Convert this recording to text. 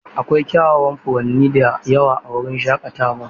Akwai kyawawan furanni da yawa a wurin shaƙatawar.